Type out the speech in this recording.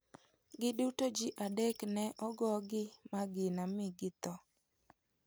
Giduto ji adek ne ogogi magina mi githo.